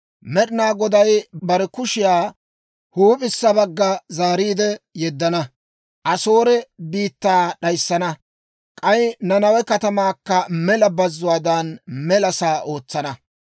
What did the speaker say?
Med'inaa Goday bare kushiyaa huup'issa bagga zaariide yeddana; Asoore biittaa d'ayissana. K'ay Nanawe katamaakka mela bazzuwaadan, mela sa'aa ootsana.